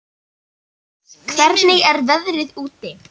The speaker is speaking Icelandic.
Tumas, hvernig er veðrið úti?